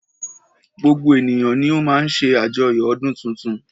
Gbogbo ènìyàn ni o má ń ṣe àjoyo ọdún tuntun.